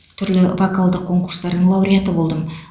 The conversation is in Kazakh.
түрлі вокалдық конкурстардың лауреаты болдым